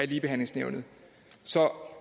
ligebehandlingsnævnet så